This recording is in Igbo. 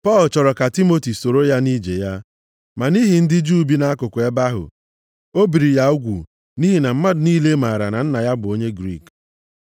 Pọl chọrọ ka Timoti soro ya nʼije ya. Ma nʼihi ndị Juu bi nʼakụkụ ebe ahụ, o biri ya ugwu nʼihi na mmadụ niile maara na nna ya bụ onye Griik.